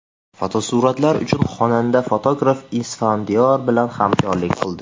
Fotosuratlar uchun xonanda fotograf Isfandiyor bilan hamkorlik qildi.